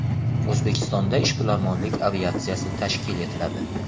O‘zbekistonda ishbilarmonlik aviatsiyasi tashkil etiladi.